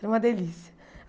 Era uma delícia.